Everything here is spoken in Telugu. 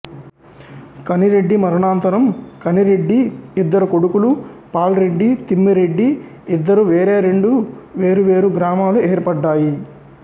కనిరెడ్డి మరణానంతరం కనిరెడ్డి ఇద్దరు కొడుకులు పాల్ రెడ్డి తిమ్మరెడ్డి ఇద్దరు వేరేరెండు వేరు వేరు గ్రామాలు ఏర్పడ్డాయి